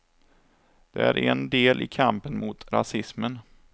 Det är en del i kampen mot rasismen.